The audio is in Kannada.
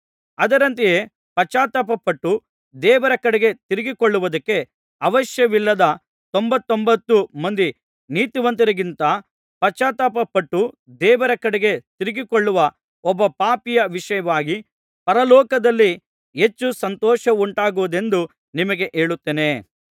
ಅದರಂತೆ ಪಶ್ಚಾತ್ತಾಪಪಟ್ಟು ದೇವರ ಕಡೆಗೆ ತಿರುಗಿಕೊಳ್ಳುವುದಕ್ಕೆ ಅವಶ್ಯವಿಲ್ಲದ ತೊಂಬತ್ತೊಂಬತ್ತು ಮಂದಿ ನೀತಿವಂತರಿಗಿಂತ ಪಶ್ಚಾತ್ತಾಪಪಟ್ಟು ದೇವರ ಕಡೆಗೆ ತಿರುಗಿಕೊಳ್ಳುವ ಒಬ್ಬ ಪಾಪಿಯ ವಿಷಯವಾಗಿ ಪರಲೋಕದಲ್ಲಿ ಹೆಚ್ಚು ಸಂತೋಷವುಂಟಾಗುವುದೆಂದು ನಿಮಗೆ ಹೇಳುತ್ತೇನೆ